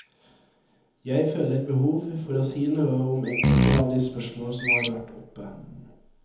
Jeg føler behov for å si noe om enkelte av de spørsmål som har vært oppe.